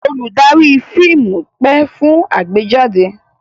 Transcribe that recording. Olùdarí fíìmù pẹ́ fún àgbéjáde.